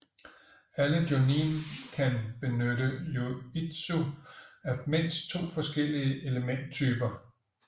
Alle Jonin kan benytte jutsu af mindst to forskellige elementtyper